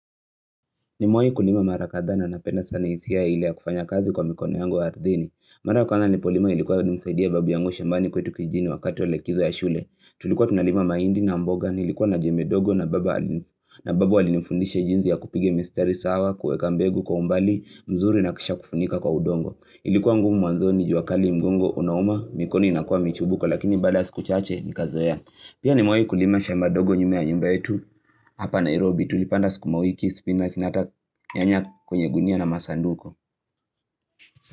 Nimewai kulima mara kadhaa na penda sana hisia ile ya kufanya kazi kwa mikono yangu wa ardhini. Mara ya kwanza nilipolima ilikuwa ni msaidia babu yangu shambani kwetu kijijini wakati wa likizo ya shule. Tulikuwa tunalima mahindi na mboga ni ilikuwa na jembe dogo na babu alinifundisha jinsi ya kupiga mistari sawa kuweka mbegu kwa umbali mzuri na kisha kufunika kwa udongo. Ilikuwa ngumu mwanzoni jua kali mgongo unauma mikono inakuwa michubuko lakini baada ya siku chache nikazoea. Pia nimewaii kulima shamba dogo nyuma ya nyumba yetu hapa Nairobi tulipanda sukumawiki spinach na hata nyanya kwenye gunia na masanduku.